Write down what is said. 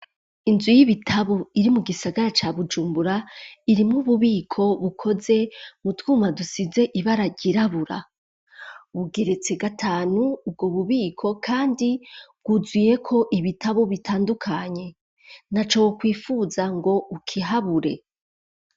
Inzu y'ibitabu iri mu gisagara ca bujumbura iri mububiko bukoze mu twuma dusize ibara ryirabura, bugeretse gatanu ubwo bubiko kandi bwuzuyeko ibitabu bitandukanye ntaco wo kwifuza ngo ukihabure.